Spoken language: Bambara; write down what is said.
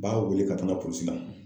N b'a wele ka taga polisi la.